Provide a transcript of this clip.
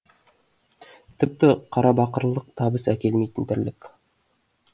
тіпті қарабақырлық табыс әкелмейтін тірлік